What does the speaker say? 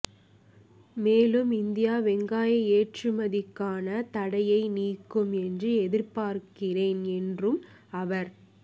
மேலும் இந்தியா வெங்காய ஏற்றுமதிக்கான தடையை நீக்கும் என்று எதிர்பார்க்கிறேன் என்றும் அவர்